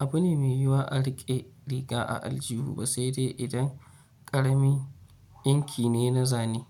abu ne mai yiwuwa a riƙe riga a aljihu ba sai dai idan ƙarami yanki ne na zane.